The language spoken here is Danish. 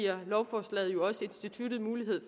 at lovforslaget